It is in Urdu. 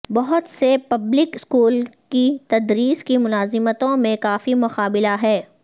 بہت سے پبلک اسکول کی تدریس کی ملازمتوں میں کافی مقابلہ ہے